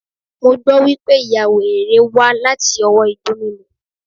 Mo gbọ́ wípé, ìya wèrè rèé wá láti ọwọ́ Igbó mímu.